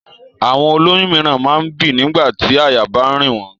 Àwọn ó lóyún mìíràn máa ń bì nígbà tí àyà bá ń rìn wọ́n.